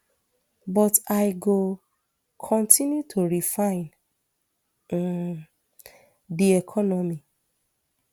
but i go continue to refine um di economy